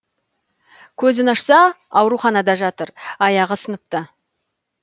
көзін ашса ауруханада жатыр аяғы сыныпты